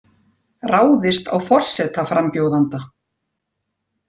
Ráðist á forsetaframbjóðanda